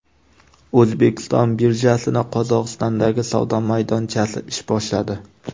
O‘zbekiston birjasining Qozog‘istondagi savdo maydonchasi ish boshladi.